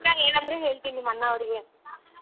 ಏನಂದ್ರೆ ಹೇಳ್ತೀನ್ ನಿಮ್ ಅಣ್ಣಾವ್ರಿಗೆ.